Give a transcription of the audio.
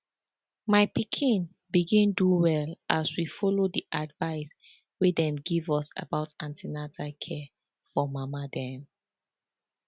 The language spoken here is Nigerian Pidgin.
my pikin begin do well as we follow the advice wey dem give us about an ten atal care for mama dem